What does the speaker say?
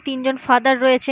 তিনজন ফাদার রয়েছে --